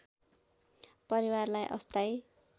परिवारलाई अस्थायी